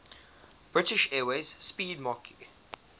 british airways 'speedmarque